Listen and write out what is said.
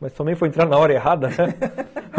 Mas também foi entrar na hora errada, né?